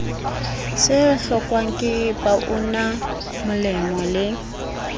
se hlokwang ke baunamolemo le